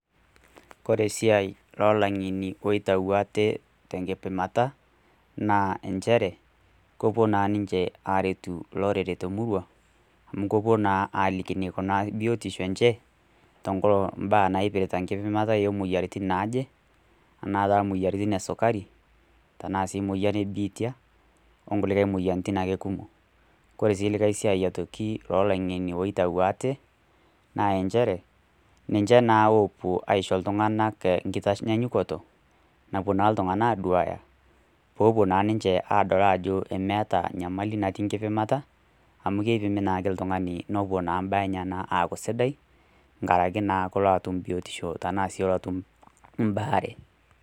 Kore esiai o ilang'eni oitayu aate tenkipimata naa enchere, kepuo naa ninche aaretu olorere te emurua, amu kepuo naa aliki eneikunaari biotisho enye, te nkolong' o mbaa naipirata enkipimata o moyiaritin naaje, anaa taa imoyiaritin e sukari, tanaa sii emoyian e biitia, o kulie moyiaritin ake kumok. Kore sii likai siai o laing'eni oitayu aate, naa enchere ninche naa oopuo aisho iltung'anak te enkitanyanyukoto, napuo naa iltung'ana aaduaya peeepuo naa ninche aadol ajo meata nyamali natii nkipimata, amu keipimi naa ltung'ani nepuo naa imbaa enyena naa aaku sidai nkiraki naa pilo naa atum biotisho anaa ilo atum mbaare.